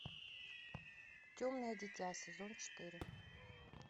темное дитя сезон четыре